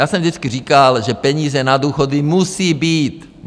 Já jsem vždycky říkal, že peníze na důchody musí být.